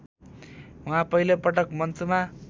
उहाँ पहिलोपटक मञ्चमा